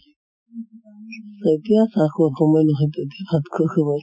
এতিয়া চাহ খোৱা সময় নহয় তো, ভাত খোৱা সময়।